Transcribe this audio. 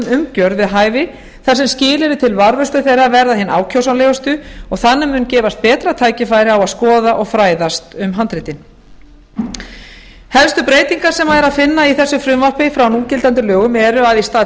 umgjörð við hæfi þar sem skilyrði til varðveislu þeirra verða hin ákjósanlegustu og þannig mun gefast betra tækifæri á að skoða og fræðast um handritin helstu breytingar sem er að finna í þessu frumvarpi frá núgildandi lögum eru að í stað